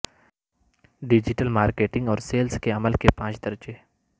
digital marketing اور sales کے عمل کے پانچ درجے